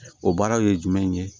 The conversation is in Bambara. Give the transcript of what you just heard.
O baaraw ye jumɛn ye